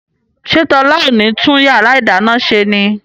ṣé Tọ́lá ò ní tún yàrá ìdáná ṣe ni?